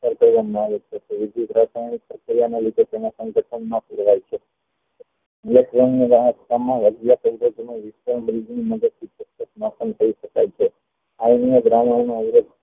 આવે છે વી વિધ રાસાયણિક પ્રક્રિયા ના લીધે તેના છે